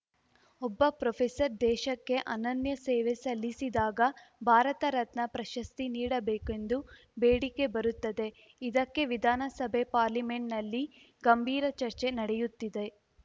ಒಬ್ಬ ಪ್ರೊಪೆಸರ್‌ ದೇಶಕ್ಕೆ ಅನನ್ಯ ಸೇವೆ ಸಲ್ಲಿಸಿದಾಗ ಭಾರತ ರತ್ನ ಪ್ರಶಸ್ತಿ ನೀಡಬೇಕೆಂದು ಬೇಡಿಕೆ ಬರುತ್ತದೆ ಇದಕ್ಕೆ ವಿಧಾನಸಭೆ ಪಾರ್ಲಿಮೆಂಟ್‌ನಲ್ಲಿ ಗಂಭೀರ ಚರ್ಚೆ ನಡೆಯುತ್ತಿದೆ